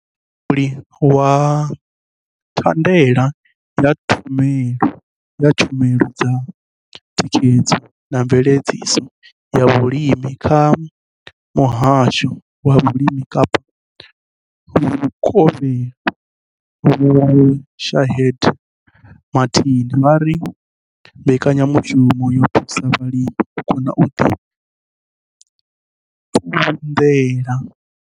Mulauli wa thandela ya tshumelo dza thikhedzo na mveledziso ya vhulimi kha muhasho wa vhulimi Kapa vhukovhela Vho Shaheed Martin vha ri mbekanyamushumo yo thusa vhalimi u kona u ḓi ṱunḓela.